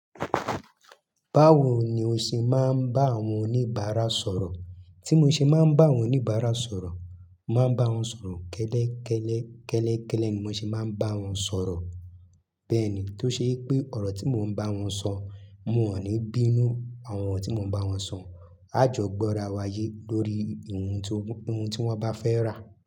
Báwo ni o ṣe máa ń bá àwọn oníbàárà sọ̀rọ̀? Tí mo ṣe máa ń bá àwọn oníbàárà sọ̀rọ̀, màá bá wọn sọ̀rọ̀ kẹ́lẹ́kẹ́lẹ́, kẹ́lẹ́kẹ́lẹ́ ni mo ṣe máa ń bá wọn sọ̀rọ̀. Bẹ́ẹ̀ni, tó ṣe pé ọ̀rọ̀ tí mò ń bá wọn sọ, mo ní bínú àwọn oro tí mò ń bá wọn sọ, a jọ gbọ́ra wa yé lórí ohun tí, ohun tí wọ́n bá fẹ́ rà.